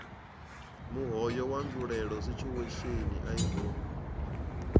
muhoyo wa nzulele situational irony